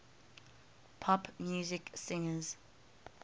pop music singers